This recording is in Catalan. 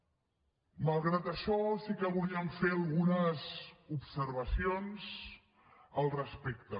malgrat això sí que voldríem fer algunes observacions al respecte